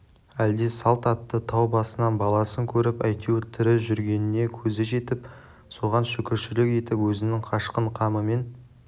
әлде салт атты тау басынан баласын көріп әйтеуір тірі жүргеніне көзі жетіп соған шүкіршілік етіп өзінің қашқын қамымен